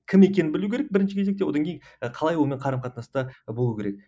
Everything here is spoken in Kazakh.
кім екенін білу керек бірінші кезекте одан кейін қалай онымен қарым қатынаста болу керек